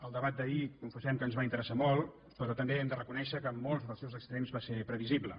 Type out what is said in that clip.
el debat d’ahir confessem que ens va interessar molt però també hem de reconèixer que en molts dels seus extrems va ser previsible